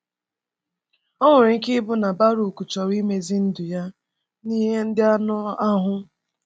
O nwere ike ịbụ na Bàrùk chọọrọ imezi ndụ ya n’ihe ndị anụ ahụ.